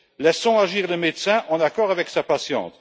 Laissons agir le médecin, en accord avec sa patiente.